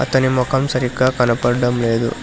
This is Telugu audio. అతని ముఖం సరిగ్గా కనబడడం లేదు.